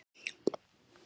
fyrir hvíld og svefn